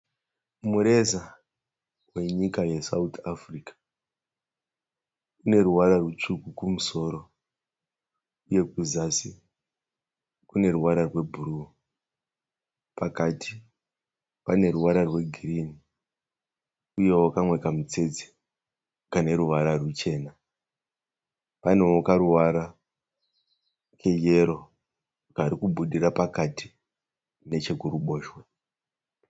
Mureza wenyika yeSouth Africa. Une ruvara rutsvuku kumusoro uye kuzasi kune ruvara rwebhuruu. Pakati pane ruvara rwegirini uyewo kamwe kamutsetse kane ruvara ruchena. Panewo karuvara keyero kari kubudira pakati nechekuruboshwe.